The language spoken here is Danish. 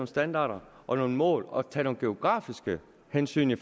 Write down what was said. standarder og nogle mål og tage nogle geografiske hensyn i